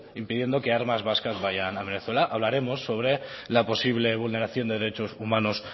impidiendo que armas vasca vayan a venezuela hablaremos sobre la posible vulneración de derechos humanos